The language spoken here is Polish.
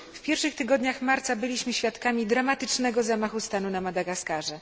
W pierwszych tygodniach marca byliśmy świadkami dramatycznego zamachu stanu na Madagaskarze.